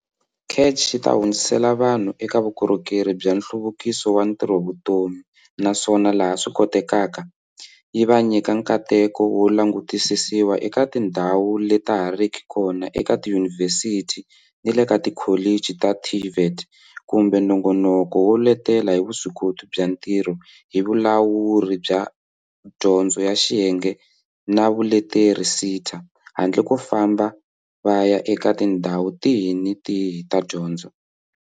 CACH yi ta hundzisela vanhu eka vukorhokeri bya nhluvukiso wa ntirhovutomi naswona laha swi kotekaka, yi va nyika nkateko wo langutisisiwa eka tindhawu leta ha riki kona eka tiyunivhesiti ni le ka tikholichi ta TVET kumbe nongonoko wo letela hi vuswikoti bya ntirho hi Vulawuri bya Dyondzo ya Xiyenge na Vuleteri, SETA, handle ko famba va ya eka tindhawu tihi ni tihi ta dyondzo.